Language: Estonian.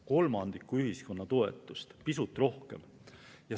Kolmandiku ühiskonna toetust või pisut rohkem.